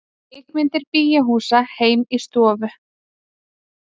Kvikmyndir bíóhúsa heim í stofu